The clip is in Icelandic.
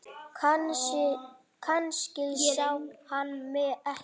Kannski sá hann mig ekki.